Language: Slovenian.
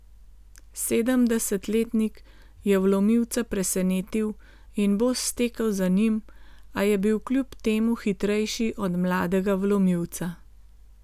Sedemdesetletnik je vlomilca presenetil in bos stekel za njim, a je bil kljub temu hitrejši od mladega vlomilca.